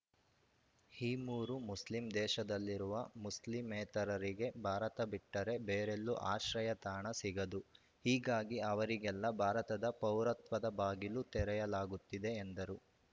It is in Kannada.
ಈ ಮೂರು ಮುಸ್ಲಿಂ ದೇಶದಲ್ಲಿರುವ ಮುಸ್ಲಿಮೇತರರಿಗೆ ಭಾರತ ಬಿಟ್ಟರೆ ಬೇರೆಲ್ಲೂ ಆಶ್ರಯತಾಣ ಸಿಗದು ಹೀಗಾಗಿ ಅವರಿಗೆಲ್ಲ ಭಾರತದ ಪೌರತ್ವದ ಬಾಗಿಲು ತೆರೆಯಲಾಗುತ್ತಿದೆ ಎಂದರು